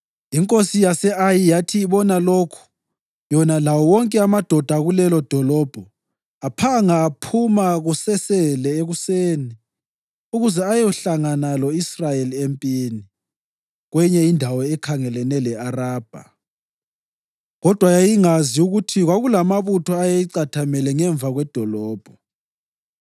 Inkosi yase-Ayi yathi ibona lokhu yona lawo wonke amadoda akulelodolobho aphanga aphuma kusesele ekuseni ukuze ayehlangana lo-Israyeli empini kweyinye indawo ekhangelane le-Arabha. Kodwa yayingazi ukuthi kwakulamabutho ayeyicathamele ngemva kwedolobho.